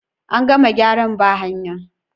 An gama gyaran ba hayan?.